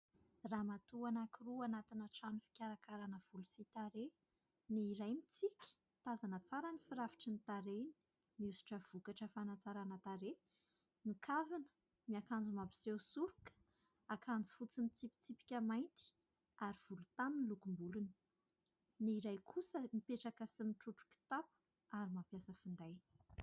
Ramatoa anankiroa anatina trano fikarakarana volo sy tarehy : ny iray mitsiky tazana tsara ny firafitry ny tarehiny miosotra vokatra fanantsarana tarehy mikavina miakanjo mampiseho soroka, akanjo fotsy ny tsipitsipika mainty ary volontany lokom-bolony; ny iray kosa mipetraka sy mitrotro kitapo ary mampiasa finday.